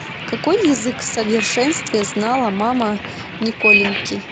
какой язык в совершенстве знала мама николеньки